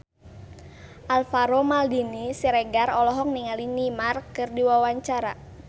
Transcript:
Alvaro Maldini Siregar olohok ningali Neymar keur diwawancara